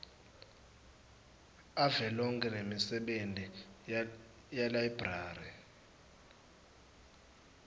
avelonkhe nemisebenti yelayibrari